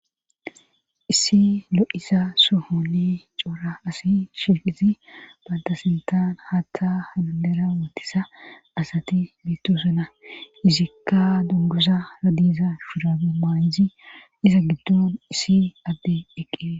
issi lo7iza sohoni coora asi shiiqizi bantasintan haatta haudera wotisa asati bittusana izikka dungosa radisa shurabi maayizi iza giddon isi adde eqqe